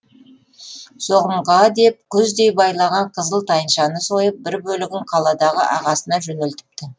соғымға деп күздей байлаған қызыл тайыншаны сойып бір бөлігін қаладағы ағасына жөнелтіпті